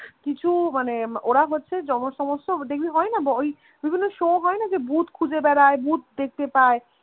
কিছু মানে ওরা হচ্ছে দেখবি হয়না ওই বিভিন্ন show হয়না ভুত খুঁজে বেড়ায় ভুত দেখতে পায়